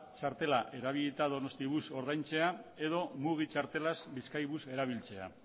txartela erabilita donostibus ordaintzea edo mugi txartelaz bizkaibus erabiltzea